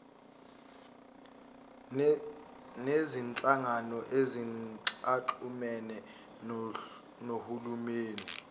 nezinhlangano ezingaxhumene nohulumeni